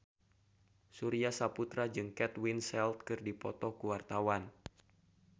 Surya Saputra jeung Kate Winslet keur dipoto ku wartawan